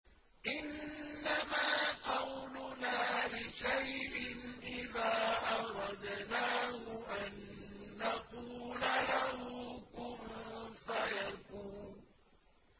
إِنَّمَا قَوْلُنَا لِشَيْءٍ إِذَا أَرَدْنَاهُ أَن نَّقُولَ لَهُ كُن فَيَكُونُ